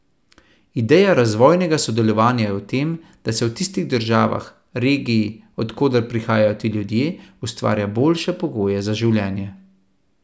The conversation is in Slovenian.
Ideja razvojnega sodelovanja je v tem, da se v tistih državah, regiji, od koder prihajajo ti ljudje, ustvarja boljše pogoje za življenje.